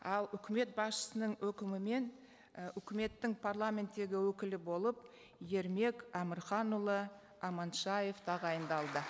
ал үкімет басшысының өкімімен і үкіметтің парламенттегі өкілі болып ермек әмірханұлы аманшаев тағайындалды